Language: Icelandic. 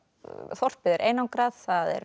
þorpið er einangrað